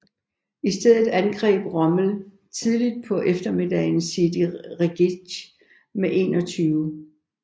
I stedet angreb Rommel tidligt på eftermiddagen Sidi Rezegh med 21